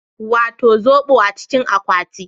Wato zobo a cikin akwati